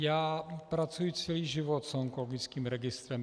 Já pracuji celý život s onkologickým registrem.